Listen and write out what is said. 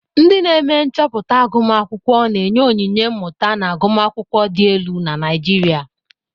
Ndị na-eme nchọpụta agụmakwụkwọ na-enye onyinye mmụta na agụmakwụkwọ dị elu na Naijiria.